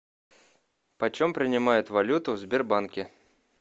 почем принимают валюту в сбербанке